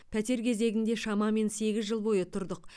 пәтер кезегінде шамамен сегіз жыл бойы тұрдық